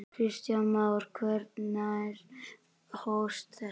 Kristján Már: Hvenær hófst þetta?